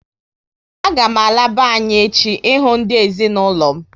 A ga m ala be anyị echi ị hụ ndị ezinụlọ m